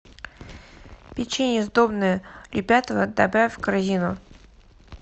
печенье сдобное любятово добавь в корзину